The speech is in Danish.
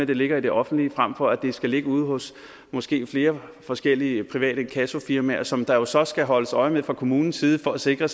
det ligger i det offentlige frem for at det skal ligge ude hos måske flere forskellige private inkassofirmaer som der jo så skal holdes øje med fra kommunens side for at sikre